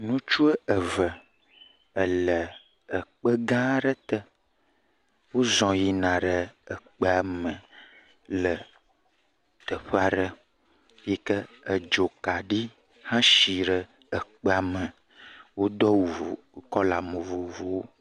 Ŋtsu eve le kpe gã aɖe te. Wozɔ̃ yina ɖe kpea me le teƒe aɖe yi ke dzokaɖi edzokaɖi hesi ɖe kpea me. Wodo awu vo kɔla vovovowo.